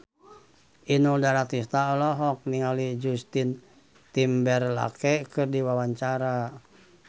Inul Daratista olohok ningali Justin Timberlake keur diwawancara